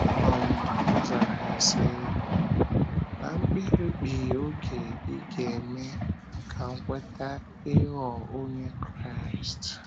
um Ọ zara ya sị: “ um Ná mkpirikpi oge ị ga - eme ka m kweta ịghọ onye Kraịst. ”